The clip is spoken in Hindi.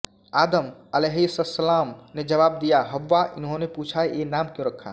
आदम अलैहिस्सलाम ने जवाब दिया हव्वा इन्होंने फिर पूछा ये नाम क्यों रखा